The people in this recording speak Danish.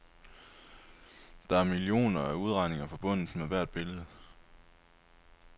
Der er millioner af udregninger forbundet med hvert billede.